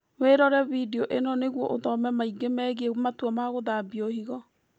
Wĩrore bindio ĩno nĩguo ũthome maingĩ megiĩ matua ma gũthambio higo